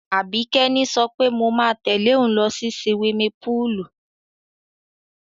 Àbíkẹ́ ni sọ pé mo máa tẹ̀lé òun lọ sí siwimi púùlù.